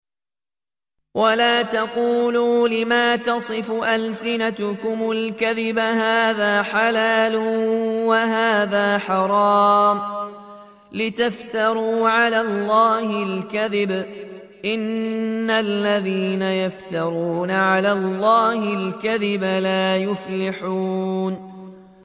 وَلَا تَقُولُوا لِمَا تَصِفُ أَلْسِنَتُكُمُ الْكَذِبَ هَٰذَا حَلَالٌ وَهَٰذَا حَرَامٌ لِّتَفْتَرُوا عَلَى اللَّهِ الْكَذِبَ ۚ إِنَّ الَّذِينَ يَفْتَرُونَ عَلَى اللَّهِ الْكَذِبَ لَا يُفْلِحُونَ